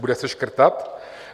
Bude se škrtat?